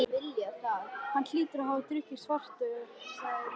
Hann hlýtur að hafa drukkið Svartadauða, sagði Eiríkur.